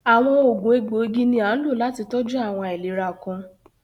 Awọn oogun ègboigì ni a nló láti tọjú awọn aìlèrà kan.